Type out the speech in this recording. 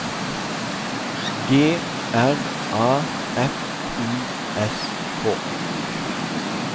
G R A F I S K